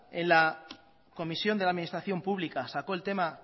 en la comisión de la administración pública sacó el tema